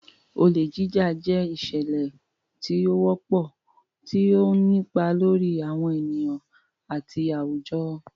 Olè Jíjà jẹ́ ìṣẹ̀lẹ̀ tí ó wọ́pọ̀, tí ó ń nípa lórí àwọn ènìyàn àti àwùjọ.